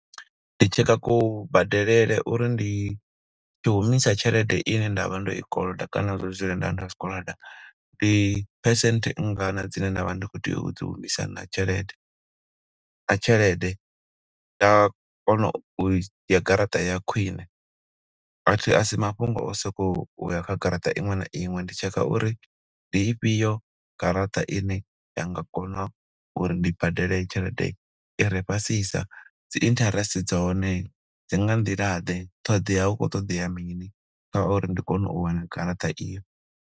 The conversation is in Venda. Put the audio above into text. Ndi tshekha kubadelele uri ndi tshi humisa tshelede ine nda vha ndo i koloda kana ndo dzula nda nda i koloda. Ndi percent nngana dzine nda vha ndi khou tea u dzi humisa na tshelede. Nga tshelede nda kona u garaṱa ya khwine, athi asi mafhungo o soko uya kha garaṱa iṅwe na iṅwe, ndi tshekha uri ndi ifhio garaṱa i ine ya nga kona uri ndi badele tshelede i re fhasisa. Dzi interest dza hone dzi nga nḓila ḓe? ṱhoḓea hu khou ṱoḓea mini kha uri ndi kone u wana garaṱa eyi.